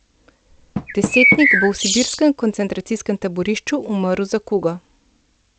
Desetnik bo v sibirskem koncentracijskem taborišču umrl za kugo.